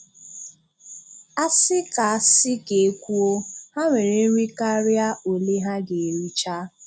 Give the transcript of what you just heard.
A sị ka sị ka e kwuo, ha nwere nri karịa ole ha ga-ericha.